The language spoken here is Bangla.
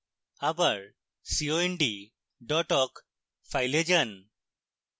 আবার cond dot awk file যান